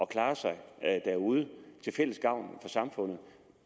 klare sig derude til fælles gavn for samfundet